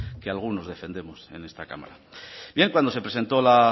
que algunos defendemos en esta cámara cuando se presentó la